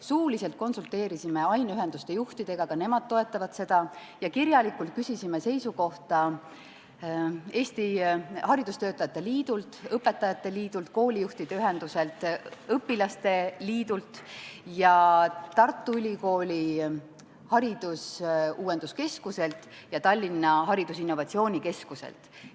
Suuliselt oleme konsulteerinud aineühenduste juhtidega, ka nemad toetavad seda, ja kirjalikult küsisime seisukohta haridustöötajate liidult, õpetajate liidult, koolijuhtide ühenduselt, õpilaste liidult ja Tartu Ülikooli haridusuuenduskeskuselt ja Tallinna Ülikooli haridusinnovatsioonikeskuselt.